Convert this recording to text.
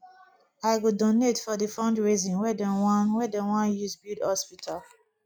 i go donate for di fundraising wey dey wan wey dey wan use build hospital